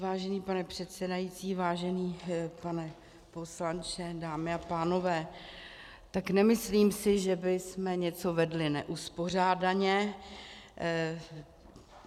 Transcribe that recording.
Vážený pane předsedající, vážený pane poslanče, dámy a pánové, tak nemyslím si, že bychom něco vedli neuspořádaně.